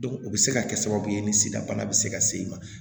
o bɛ se ka kɛ sababu ye ni sida bana bɛ se ka s'i ma